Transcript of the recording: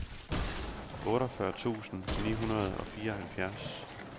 otteogfyrre tusind ni hundrede og fireoghalvfjerds